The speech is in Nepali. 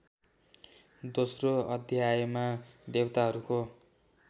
दोस्रो अध्यायमा देवताहरूको